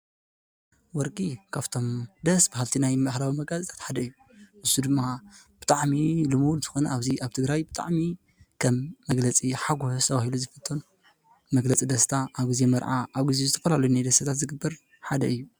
ወርቂ ካብቶም ደስ በሃልቲ ናይ ባህላዊ መጋየፅታት ሓደ እዩ፡፡ ንሱ ድማ ብጣዕሚ ልሙድ ዝኮነ ኣብዙይ ኣብ ትግራይ ብጣዕሚ ከም መግለፂ ሓጎስ ተባሂሉ ዝፍቶ። መግለፂ ደስታ፣ ኣብ ግዜ መርዓ፣ ኣብ ግዜ ዝተፈላለዩ ናይ ደስታታት ዝግበር ሓደ እዩ፡፡